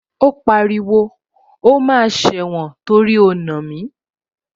Ó pariwo, o máa sẹ̀wọ̀n torí o nà mí